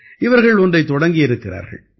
இவர்கள் ஒன்றைத் தொடங்கியிருக்கிறார்கள்